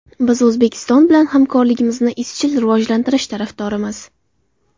Biz O‘zbekiston bilan hamkorligimizni izchil rivojlantirish tarafdorimiz.